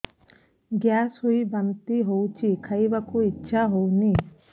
gas ହୋଇ ବାନ୍ତି ହଉଛି ଖାଇବାକୁ ଇଚ୍ଛା ହଉନି